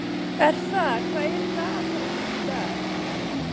Bertha, hvað er í dagatalinu mínu í dag?